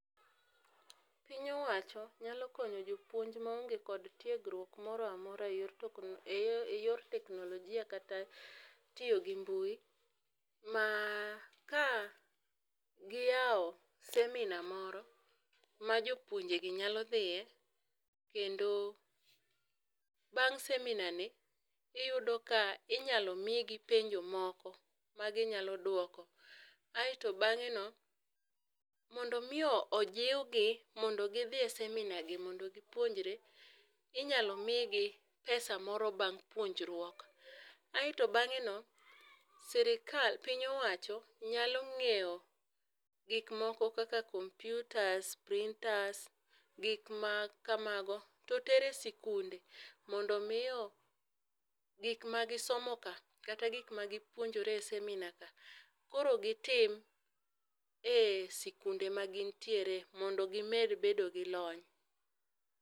Piny owacho nyalo konyo jopuonj ma onge kod tiegruok moro amora e yor teknologia kata tiyo gi mbui ma ka gi yawo seminar moro ma jopunjre gi nyalo dhiye kendo bang' seminar ni iyudo ka inyalo mi gi penjo moko ma gi nyalo dwoko. Aito bang'e no mondo mi ojiw gi mondo gi dhi e seminar gi mondo gi puonjre inyalo mi gi pesa moro bang' puonjruok. Aito bang'e no sirkal piny owacho nyalo ngiewo gik moko ma kaka kompyutas gik ma kamago to tere sikunde mondo mi gik ma gi somo ka kata gik ma gi puonjre e seminar ka koro gi tim e sikunde ma gin tiere mondo gi med bedo gi lony.